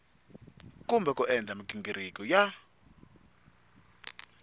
kumbe ku endla mighingiriko ya